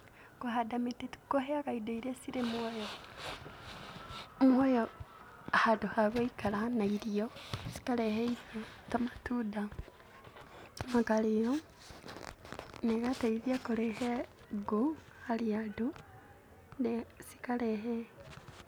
Kũhanda mĩtĩ kũheaga indo iria irĩ mũoyo, mũoyo handũ ha gũikara cikarehe irio ta matunda ikarĩo na igatuĩka ũteithio harĩ andũ cikarehe